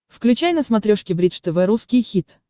включай на смотрешке бридж тв русский хит